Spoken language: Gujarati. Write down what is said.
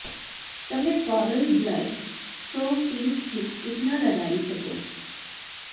તમે coral blush so pink lipstick ન લગાવી શકો